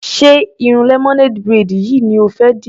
Ṣé irun lemonade braid yìí ni o fẹ́ dì?